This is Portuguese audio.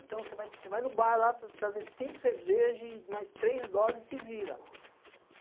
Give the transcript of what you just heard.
Então, você vai no bar lá trazer cinco cervejas e mais três doses e se vira.